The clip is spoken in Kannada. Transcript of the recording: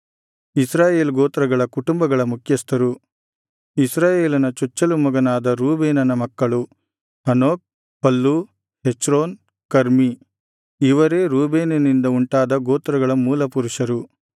ಇಸ್ರಾಯೇಲ್ ಗೋತ್ರಗಳ ಕುಟುಂಬಗಳ ಮುಖ್ಯಸ್ಥರು ಇಸ್ರಾಯೇಲನ ಚೊಚ್ಚಲು ಮಗನಾದ ರೂಬೇನನ ಮಕ್ಕಳು ಹನೋಕ್ ಫಲ್ಲು ಹೆಚ್ರೋನ್ ಕರ್ಮೀ ಇವರೇ ರೂಬೇನಿನಿಂದ ಉಂಟಾದ ಗೋತ್ರಗಳ ಮೂಲ ಪುರುಷರು